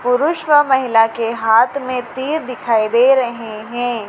पुरुष व महिला के हाथ में तीर दिखाई दे रहे हैं।